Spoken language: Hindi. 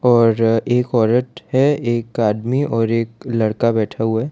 और एक औरत है एक आदमी और एक लड़का बैठा हुआ है।